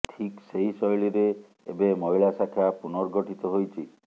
ଠିକ୍ ସେହି ଶୈଳୀରେ ଏବେ ମହିଳା ଶାଖା ପୁନର୍ଗଠିତ ହୋଇଛି